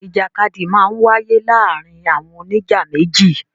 Ìjàkadì máa ń wáyé láàárin àwọn oníjà méjì.